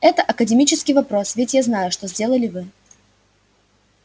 это академический вопрос ведь я знаю что сделали вы